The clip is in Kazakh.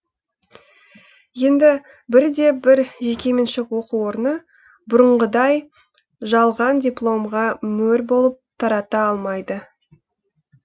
енді бір де бір жекеменшік оқу орны бұрынғыдай жалған дипломға мөр болып тарата алмайды